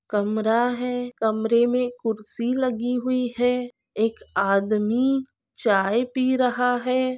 कमरा है कमरे में कुर्सी लगी हुई है एक आदमी चाय पी रहा है ।